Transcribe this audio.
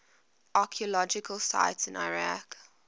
archaeological sites in iraq